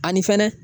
Ani fɛnɛ